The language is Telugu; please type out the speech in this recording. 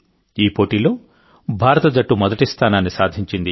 ఈ టోర్నీలో భారత జట్టు మొదటి స్థానాన్ని సాధించింది